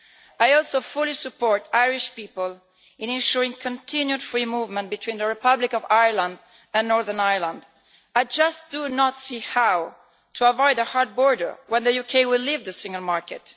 I also fully support Irish people in ensuring continued free movement between the Republic of Ireland and Northern Ireland. I just do not see how to avoid a hard border when the UK leaves the single market.